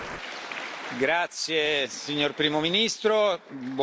Grazie signor Primo ministro, buon lavoro.